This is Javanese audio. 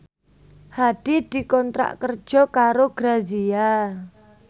Hadi dikontrak kerja karo Grazia